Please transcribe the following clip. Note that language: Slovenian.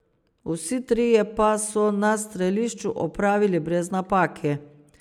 Vsi trije pa so na strelišču opravili brez napake.